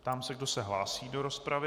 Ptám se, kdo se hlásí do rozpravy.